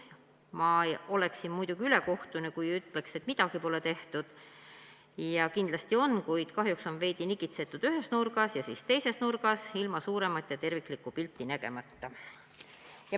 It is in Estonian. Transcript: Ma oleksin muidugi ülekohtune, kui ütleksin, et midagi pole tehtud – kindlasti on –, kuid kahjuks on veidi nokitsetud ühes nurgas ja siis teises nurgas ilma suuremat ja terviklikku pilti nägemata.